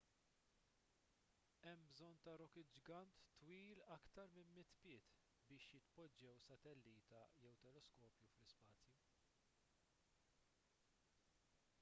hemm bżonn ta' rokit ġgant twil aktar minn 100 pied biex jitpoġġew satellita jew teleskopju fl-ispazju